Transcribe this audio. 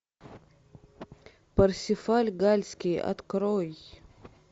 парсифаль галльский открой